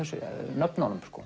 nöfnunum